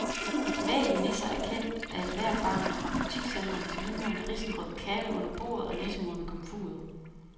Bevægelige nisser er kendt af ethvert barn fra butikscentrenes vinduer med risengrød, katte under bordet og nissemor ved komfuret.